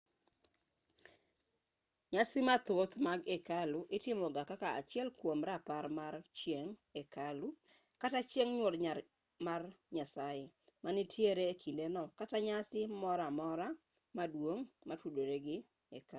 nyasi mathoth mag hekalu itimoga kaka achiel kwom rapar mar chieng' hekalu kata chieng' nyuol mar nyasaye manitiere e kindeno kata nyasi moro amora maduong' motudore gi hekalu